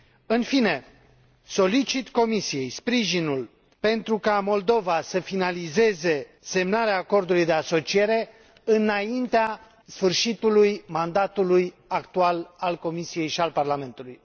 În fine, solicit Comisiei sprijinul pentru ca Moldova să finalizeze semnarea acordului de asociere înaintea sfârșitului mandatului actual al Comisiei și al Parlamentului.